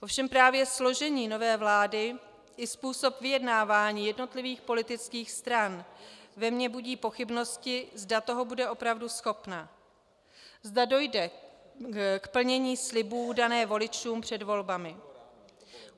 Ovšem právě složení nové vlády i způsob vyjednávání jednotlivých politických stran ve mně budí pochybnosti, zda toho bude opravdu schopna, zda dojde k plnění slibů daných voličů před volbami.